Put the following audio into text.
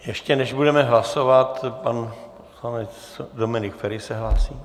Ještě než budeme hlasovat, pan poslanec Dominik Feri se hlásí.